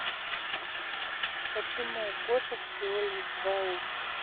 почему у кошек всего лишь два уха